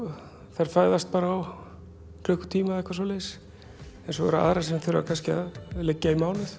fæðast bara á klukkutíma eitthvað svoleiðis en svo eru aðrar sem þurfa kannski að liggja í mánuð